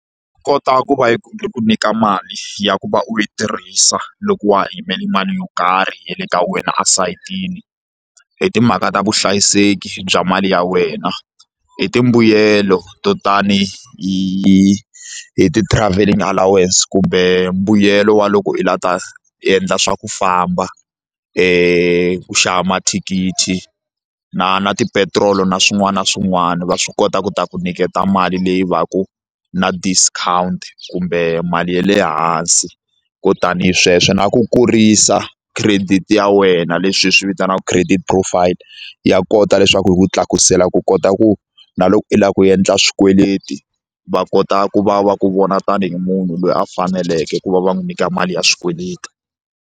Nkota i ku va yi ku nyika mali ya ku va u yi tirhisa loko wa ha yimele mali yo karhi ya le ka wena esayitini hi timhaka ta vuhlayiseki bya mali ya wena hi timbuyelo to tani hi hi-ti travelling allowance kumbe mbuyelo wa loko i lava ta endla swa ku famba ku xava mathikithi na na tipetiroli na swin'wana na swin'wana va swi kota ku ta ku nyiketa mali leyi va ku na discount kumbe mali ya le hansi ko tanihi sweswo na ku kurisa credit ya wena leswi hi swi vitanaka credit profile ya kota leswaku hi ku tlakusela ku kota ku na loko i lava ku endla swikweleti va kota ku va va ku vona tanihi munhu loyi a faneleke ku va va n'wi nyika mali ya swikweleti.